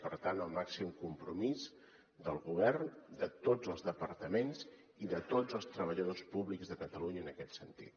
per tant el màxim compromís del govern de tots els departaments i de tots els treballadors públics de catalunya en aquest sentit